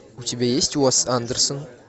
у тебя есть уэс андерсон